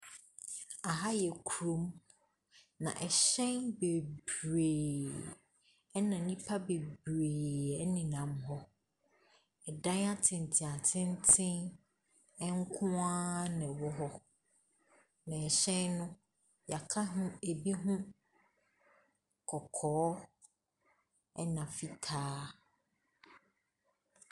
Aha yɛ kurom, na hyɛn bebree na nnipa bebree nenam hɔ. dan atenten atenten nkoara na ɛwɔ hɔ. na hyɛn no, yɛaka ho bi ho kɔkɔɔ na fitaa.